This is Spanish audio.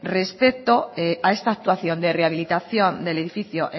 respecto a esta actuación de rehabilitación del edificio